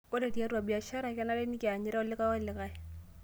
Ore tiatua biashara kenare nikianyita olikai o likai